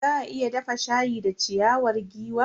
Za a iya dafa shayi da ciyawar giwa.